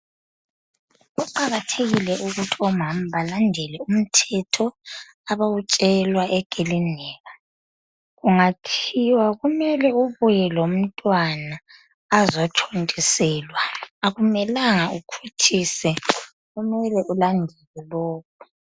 Kuqakathekile ukuthi omama balandele umithetho abawutshelwa eklilinika kungathiwa kumele ubuye lomntwana azothontiselwa akumelanga ukhuthise kumele ulandele lokho.